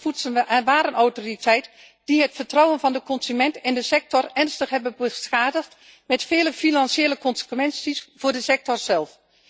De Nederlandse Voedsel en Warenautoriteit, die het vertrouwen van de consument in de sector ernstig heeft beschadigd, met vele financiële consequenties voor de sector zelf.